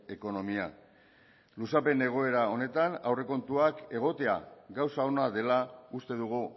ekonomia luzapen egoera honetan aurrekontuak egotea gauza ona dela uste dugu